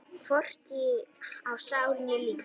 Hvorki á sál né líkama.